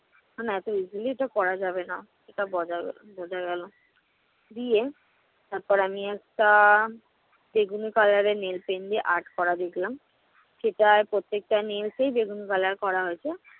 না তো easily এটা করা যাবে না। এটা বঝা~ বোঝা গেলো। দিয়ে তারপর আমি একটা বেগুনি color এর nail paint দিয়ে art করা দেখলাম। সেটায় প্রত্যেকটা nails এই বেগুনি color করা হয়েছে।